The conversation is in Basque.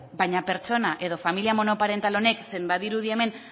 baina pertsona edo familia monoparental honek zein badirudi hemen